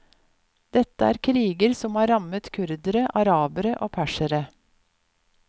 Dette er kriger som har rammet kurdere, arabere og persere.